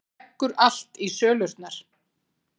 Leggur allt í sölurnar